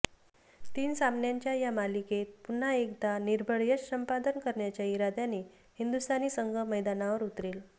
तीन सामन्यांच्या या मालिकेत पुन्हा एकदा निर्भेळ यश संपादन करण्याच्या इराद्याने हिंदुस्थानी संघ मैदानावर उतरेल